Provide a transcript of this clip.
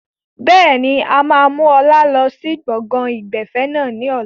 Bẹ́ẹ̀ni, a máa mú ọlá lọ sí gbọ̀ngàn ìgbafẹ́ náà ni ọ̀la.